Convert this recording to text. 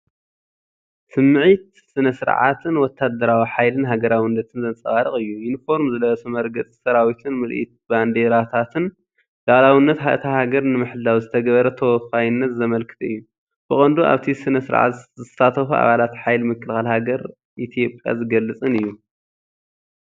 ስምዒት ስነ-ስርዓትን ወተሃደራዊ ሓይሊን ሃገራውነትን ዘንጸባርቕ እዩ። ዩኒፎርም ዝለበሰ መርገጺ ሰራዊትን ምርኢት ባንዴራታትን፡ ልኡላውነት እታ ሃገር ንምሕላው ዝተገብረ ተወፋይነት ዘመልክት እዩ። ብቐንዱ ኣብቲ ስነ-ስርዓት ዝሳተፉ ኣባላት ሓይሊ ምክልኻል ሃገር ኢትዮጵያ ዝገልጽን እዩ።